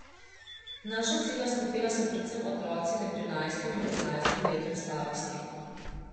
Naša ciljna skupina so predvsem otroci med trinajstim in petnajstim letom starosti.